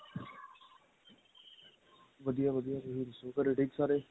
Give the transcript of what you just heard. ਵਧੀਆ ਵਧੀਆ ਤੁਸੀਂ ਦਸੋ ਘਰੇ ਠੀਕ ਏ ਸਾਰੇ